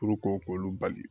k'olu bali